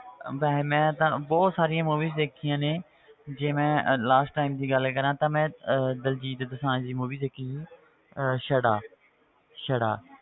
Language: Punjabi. ਵੈਸੇ ਮੈਂ ਤਾਂ ਬਹੁਤ ਸਾਰੀ movies ਦੇਖੀਆਂ ਨੇ ਜੇ ਮੈਂ last time ਦੀ ਗੱਲ ਕਰਾਂ ਤਾਂ ਮੈਂ ਅਹ ਦਲਜੀਤ ਦੋਸਾਂਝ ਦੀ movie ਦੇਖੀ ਸੀ ਅਹ ਛੜਾ ਛੜਾ